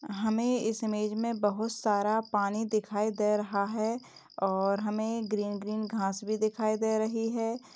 हमें इस इमेज में बहुत सारा पानी दिखाई दे रहा है और हमें ग्रीन ग्रीन घास भी दिखाई दे रही है।